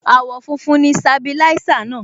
Àwọ̀ funfun ni Sabilisa náà.